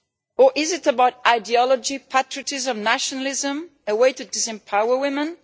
Or is it about ideology, patriotism, nationalism, a way to disempower women?